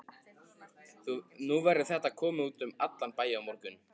Nú verður þetta komið út um allan bæ á morgun.